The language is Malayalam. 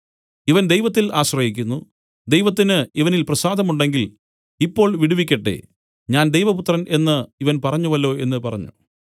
ഇവൻ ദൈവത്തിൽ ആശ്രയിക്കുന്നു ദൈവത്തിന് ഇവനിൽ പ്രസാദമുണ്ടെങ്കിൽ ഇപ്പോൾ വിടുവിക്കട്ടെ ഞാൻ ദൈവപുത്രൻ എന്നു ഇവൻ പറഞ്ഞുവല്ലോ എന്നു പറഞ്ഞു